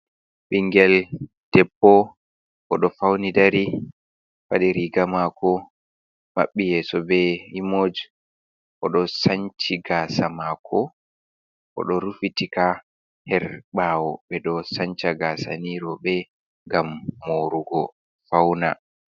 Ɓingel debbo o ɗo fauni dari, wadi riga mako, maɓɓi yeso be imoj o ɗo sanchi gaasa mako o ɗo rufitika her bawo. Ɓe ɗo sanca gaasa ni roɓe ngam morugo fauna.